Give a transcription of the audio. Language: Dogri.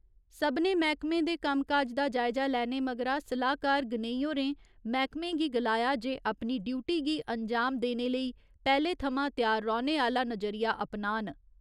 सभनें मैह्कमें दे कम्म काज दा जायजा लैने मगरा सलाह्कार गनेई होरें मैह्कमें गी गलाया जे अपनी ड्यूटी गी अन्जाम देने लेई पैह्‌ले थमां त्यार रौह्‌ने आह्‌ला नजरिया अपनान।